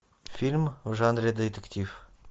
фильм в жанре детектив